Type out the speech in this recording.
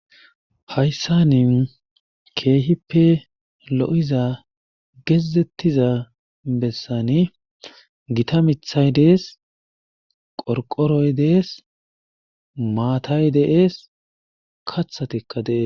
Hayssan keehippe loiza geezetiza bessan gitta mithay des, qorqoroy dees. maatay dees. kaththikka dee'etees.